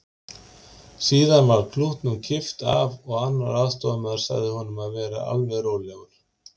Síðan var klútnum kippt af og annar aðstoðamaður sagði honum að vera alveg rólegur.